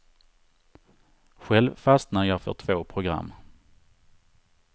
Själv fastnade jag för två program.